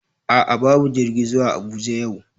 A'a babu jirgi zuwa Abuja yau,